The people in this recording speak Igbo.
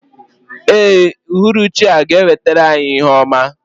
Ee, uhuruchi a ga-ewetara anyị ihe ọma.